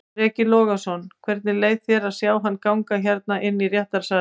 Breki Logason: Hvernig leið þér að sjá hann ganga hérna inn í réttarsalinn?